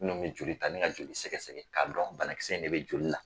Nunnu bi joli ta ni ka joli sɛgɛsɛ ka dɔn banakisɛ in de bɛ joli la.